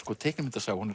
teiknimyndasaga hún